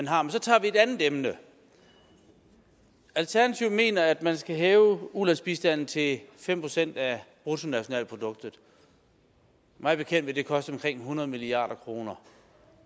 har men så tager vi et andet emne alternativet mener at man skal hæve ulandsbistanden til fem procent af bruttonationalproduktet mig bekendt vil det koste omkring hundrede milliard kroner